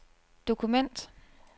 dokument